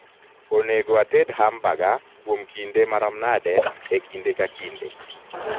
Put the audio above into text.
onego ated hamburger kuom kinde marom nade e kinde ka kinde